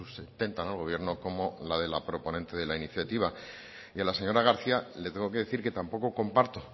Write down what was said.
sustentan al gobierno como la de la proponente de la iniciativa y a la señora garcía le tengo que decir que tampoco comparto